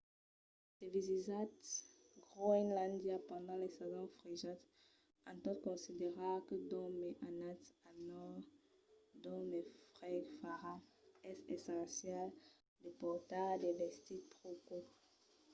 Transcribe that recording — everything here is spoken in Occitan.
se visitatz groenlàndia pendent las sasons frejas en tot considerar que d'ont mai anatz al nòrd d'ont mai freg farà es essencial de portar de vestits pro cauds